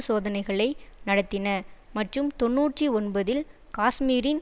சோதனைகளை நடத்தின மற்றும் தொன்னூற்றி ஒன்பதில் காஷ்மீரின்